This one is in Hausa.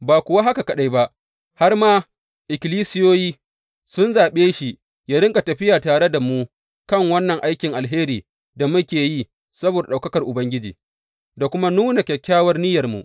Ba kuwa haka kaɗai ba, har ma ikkilisiyoyi sun zaɓe shi yă riƙa tafiya tare da mu kan wannan aikin alheri da muke yi saboda ɗaukakar Ubangiji, da kuma nuna kyakkyawar niyyarmu.